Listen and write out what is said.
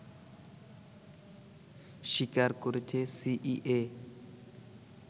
স্বীকার করেছে সিইএ